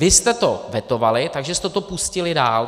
Vy jste to vetovali, takže jste to pustili dál.